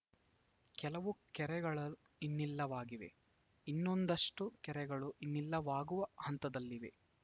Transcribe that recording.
ಕೆಲವು ಕೆರೆಗಳು ಇನ್ನಿಲ್ಲವಾಗಿವೆ ಇನ್ನೊಂದಷ್ಟುಕೆರೆಗಳು ಇನ್ನಿಲ್ಲವಾಗುವ ಹಂತದಲ್ಲಿವೆ